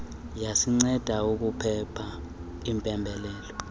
yasinceda ukuphepha iimpembelelo